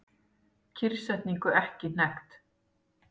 Kyrrsetningu ekki hnekkt